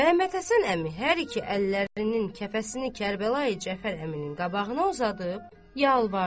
Məhəmməd Həsən əmi hər iki əllərinin kəfəsini Kərbəlayı Cəfər əminin qabağına uzadıb yalvardı.